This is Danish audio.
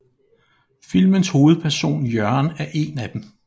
Filmens hovedperson Jørgen er en af dem